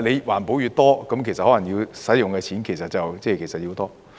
環保措施越多，其實可能要用的錢便越多。